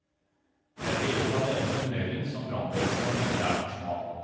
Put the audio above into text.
Det er deler av denne tunnelen som brannvesenet mener er for smal.